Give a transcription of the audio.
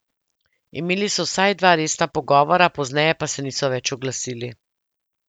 Imeli so vsaj dva resna pogovora, pozneje pa se niso več oglasili.